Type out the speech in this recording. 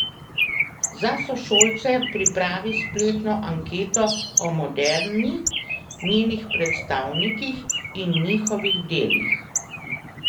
Za sošolce pripravi spletno anketo o moderni, njenih predstavnikih in njihovih delih.